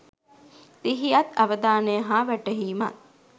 සිහියත් අවධානය හා වැටහීමත්